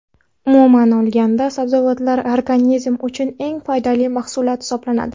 Umuman olganda, sabzavotlar organizm uchun eng foydali mahsulot hisoblanadi.